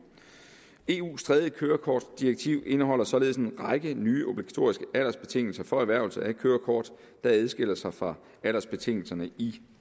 eus tredje kørekortdirektiv indeholder således en række nye obligatoriske aldersbetingelser for erhvervelse af kørekort der adskiller sig fra aldersbetingelserne i